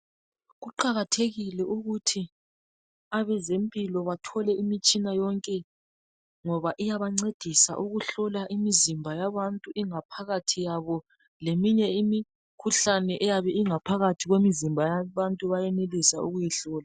Kuqakathekile ukuthi abezempilo bathole imitshina yonke ngoba iyabancedisa ukuhlola imizimba yabantu ingaphakathi yabo leminye imikhuhlane eyabe ingaphakathi kwemzimba yabantu bayenelisa ukuyihlola